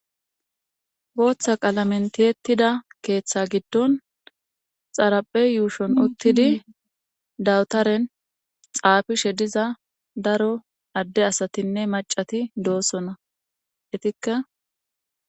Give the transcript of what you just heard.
gooththa qaalamentiyettida keeththa giddon xaraphe yuushon uttidi dawutaren xaafi she diza daro adde asatinne macati doosona etikka